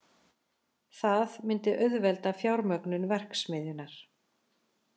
Það myndi auðvelda fjármögnun verksmiðjunnar